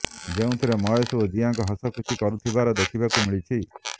ଯେଉଁଥିରେ ମହେଶ ଓ ଜିଆଙ୍କର ହସଖୁସି କରୁଥିବାର ଦେଖିବାକୁ ମିଳିଛି